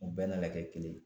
U bɛɛ nana kɛ kelen ye.